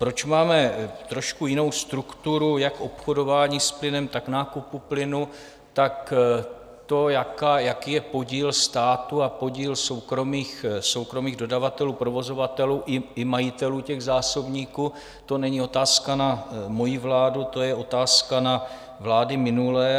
Proč máme trošku jinou strukturu jak obchodování s plynem, tak nákupu plynu, tak to, jaký je podíl státu a podíl soukromých dodavatelů, provozovatelů i majitelů těch zásobníků, to není otázka na moji vládu, to je otázka na vlády minulé.